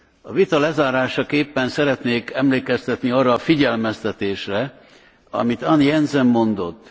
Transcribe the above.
A vita lezárásaképpen szeretnék emlékeztetni arra a figyelmeztetésre, amit Anne Jensen mondott.